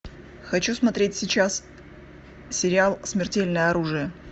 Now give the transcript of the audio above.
хочу смотреть сейчас сериал смертельное оружие